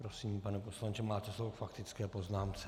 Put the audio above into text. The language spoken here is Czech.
Prosím, pane poslanče, máte slovo k faktické poznámce.